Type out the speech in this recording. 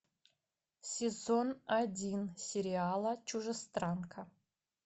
сезон один сериала чужестранка